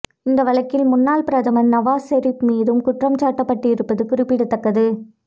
இந்த வழக்கில் முன்னாள் பிரதமர் நவாஸ் செரீப் மீதும் குற்றம் சாட்டப்பட்டிருப்பது குறிப்பிடத்தக்கது